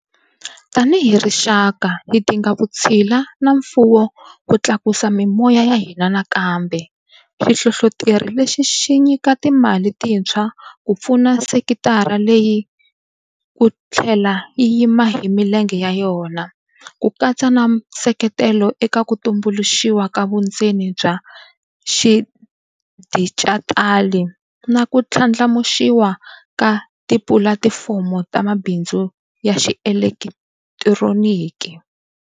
Tanihi rixaka, hi dinga vutshila na mfuwo ku tlakusa mimoya ya hina nakambe - xihlohloteri lexi xi nyika timali tintshwa ku pfuna sekitara leyi ku tlhela yi yima hi milenge ya yona, ku katsa na nseketelo eka ku tumbuluxiwa ka vundzeni bya swa xidijitali na ku ndlandlamuxiwa ka tipulatifomo ta mabindzu ya xielekitironiki.